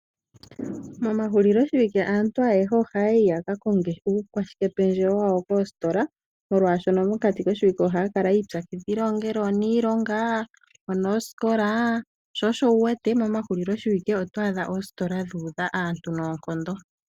Momahulilo shiwike aantu ayehe ohaya yi yaka konge uukwashike pendjewo wawo koositola molwashoka mokati koshiwilke ohaya kala yiipyakidhila ongele oniilonga onoosikola, sho osho wu wete momahulilo shiwike oto adha oositola dhu udha aantu noonkondo.